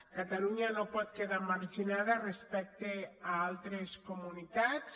catalunya no pot quedar marginada respecte a altres comunitats